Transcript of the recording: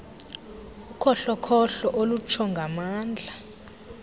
ukhohlokhohlo olutsho ngamandla